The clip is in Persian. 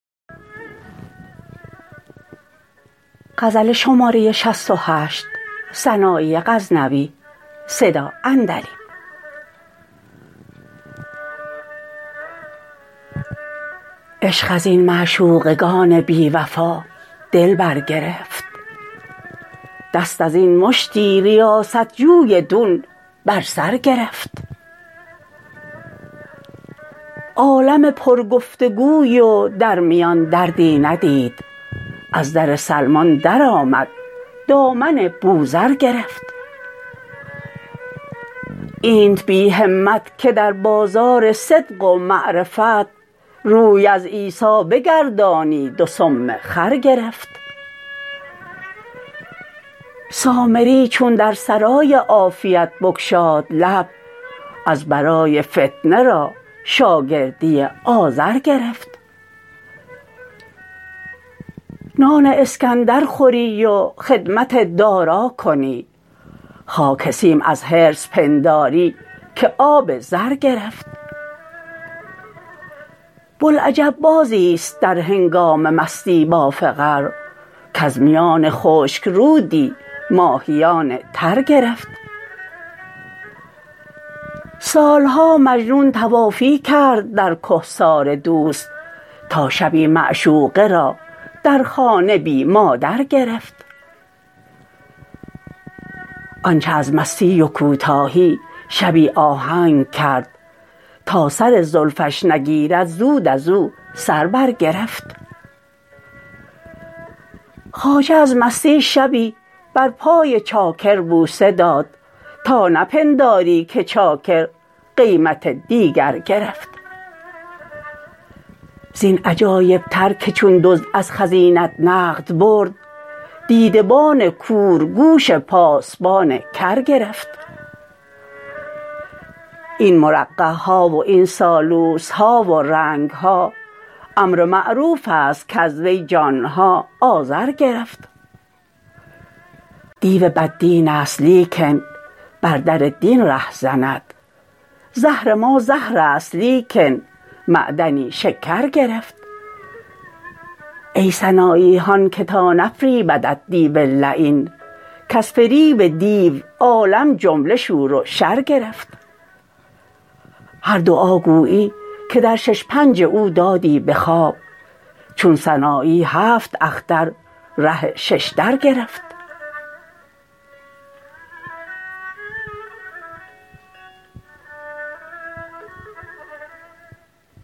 عشق ازین معشوقگان بی وفا دل بر گرفت دست ازین مشتی ریاست جوی دون بر سر گرفت عالم پر گفتگوی و در میان دردی ندید از در سلمان در آمد دامن بوذر گرفت اینت بی همت که در بازار صدق و معرفت روی از عیسا بگردانید و سم خر گرفت سامری چون در سرای عافیت بگشاد لب از برای فتنه را شاگردی آزر گرفت نان اسکندر خوری و خدمت دارا کنی خاک سیم از حرص پنداری که آب زر گرفت بلعجب بازیست در هنگام مستی باز فقر کز میان خشک رودی ماهیان تر گرفت سالها مجنون طوافی کرد در کهسار دوست تا شبی معشوقه را در خانه بی مادر گرفت آنچه از مستی و کوتاهی شبی آهنگ کرد تا سر زلفش نگیرد زود ازو سر بر گرفت خواجه از مستی شبی بر پای چاکر بوسه داد تا نه پنداری که چاکر قیمت دیگر گرفت زین عجایب تر که چون دزد از خزینت نقد برد دیده بان کور گوش پاسبان کر گرفت این مرقعها و این سالوسها و رنگها امر معروفست کز وی جانها آذر گرفت دیو بد دینست لیکن بر در دین ره زند زهر ما زهرست لیکن معدنی شکر گرفت ای سنایی هان که تا نفریبدت دیو لعین کز فریب دیو عالم جمله شور و شر گرفت هر دعا گویی که در شش پنج او دادی به خواب چون سنایی هفت اختر ره ششدر گرفت